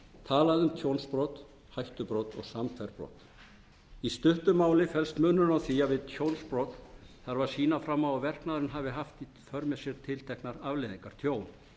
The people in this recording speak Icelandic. um tjónsbrot hættubrot og samhverf brot í stuttu máli felst munurinn á því að við tjónsbrot þarf að sýna fram á að verknaðurinn haft í för með sér tilteknar afleiðingar tjón